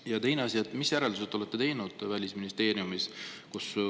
Ja teine asi: mis järeldused olete te teinud Välisministeeriumis?